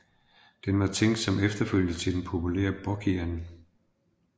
Den var tænkt som efterfølger til den populære Bocian